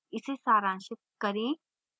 इसे सारांशित करें